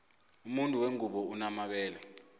umuntu wengubo unomabele